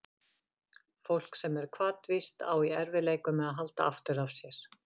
Fólk sem er hvatvíst á í erfiðleikum með að halda aftur af sér.